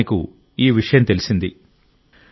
అప్పుడు ఆయనకు ఈ విషయం తెలిసింది